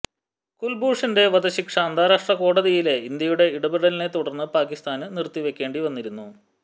കുല്ഭൂഷന്റെ വധശിക്ഷ അന്താരാഷ്ട്ര കോടതിയിലെ ഇന്ത്യയുടെ ഇടപെടലിനെ തുടര്ന്ന് പാക്കിസ്ഥാന് നിര്ത്തിവെയ്ക്കേണ്ടിവന്നിരുന്നു